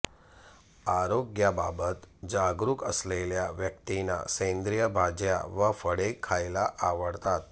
आरोग्याबाबत जागरूक असलेल्या व्यक्तींना सेंद्रीय भाज्या व फळे खायला आवडतात